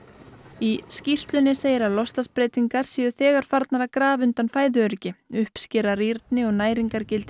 í skýrslunni segir að loftslagsbreytingar séu þegar farnar að grafa undan fæðuöryggi uppskera rýrni og næringargildi